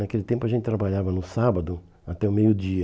Naquele tempo a gente trabalhava no sábado até o meio-dia.